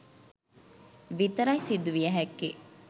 විතරයි සිදුවිය හැක්කේ.